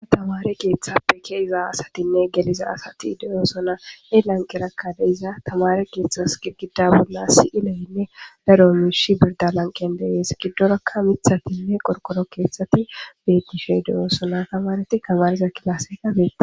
Tamare keththappe ke'izanne gelizza asati de'osona he lanqera de'za tamare keththasi girgidda si'elenne daro mishshi alaniqen de'es giddorakka miththathinne qorqoro keththathi beththishe de'osona tamareti tamarizza klassekka bettes.